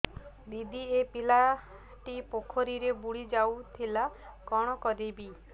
ଦିଦି ଏ ପିଲାଟି ପୋଖରୀରେ ବୁଡ଼ି ଯାଉଥିଲା କଣ କରିବି